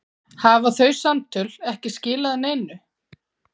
Hafa þau samtöl ekki skilað neinu?